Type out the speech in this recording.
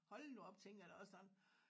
Hold nu op tænkte jeg da også sådan